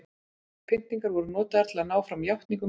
pyntingar voru notaðar til að ná fram játningum sakborninga